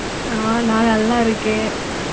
ஆஹ் நான் நல்லா இருக்கேன்.